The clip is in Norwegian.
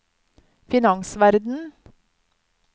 finansverden